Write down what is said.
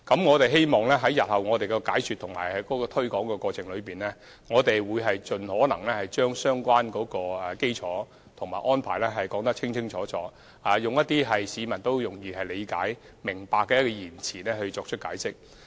我們希望在日後的解說和推廣過程中，能盡可能把相關的基礎和安排說個清楚明白，以市民易於理解的言詞作出解釋。